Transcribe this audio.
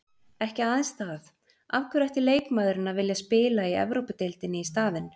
Ekki aðeins það, af hverju ætti leikmaðurinn að vilja spila í Evrópudeildinni í staðinn?